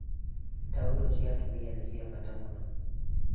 Taũrũ cia atumia nĩ cia Bata muno.